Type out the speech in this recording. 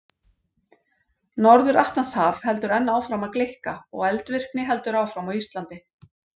Norður-Atlantshaf heldur enn áfram að gleikka og eldvirkni heldur áfram á Íslandi.